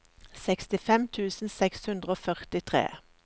sekstifem tusen seks hundre og førtitre